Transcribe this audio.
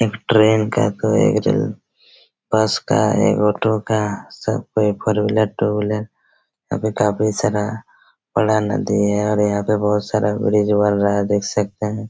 एक ट्रेन का कोई इंजन बस का एक ऑटो का सब कोई फोर व्हीलर टू व्हीलर और भी काफी सारा बड़ा नदी हैं और यहाँ पे बहुत सारा ब्रीज बन रहा हैं देख सकते हैं।